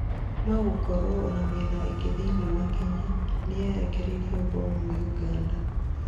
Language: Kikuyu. nogũkorwo ona mĩena ĩngĩ thĩinĩ wa Kenya nĩyerekeirio mbomu nĩ uganda